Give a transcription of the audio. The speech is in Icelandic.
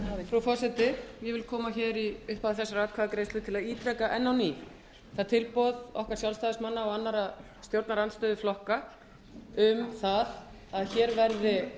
frú forseti ég vil koma hingað í upphafi þessarar atkvæðagreiðslu til að ítreka enn á ný það tilboð okkar sjálfstæðismanna og annarra stjórnarandstöðuflokka um að hér verði